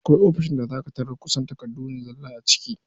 Akwai ofis da za ka tarar da kusan takardu ne zalla a ciki.